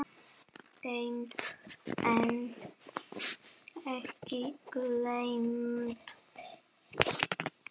Geymt en ekki gleymt